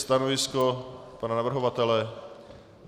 Stanovisko pana navrhovatele?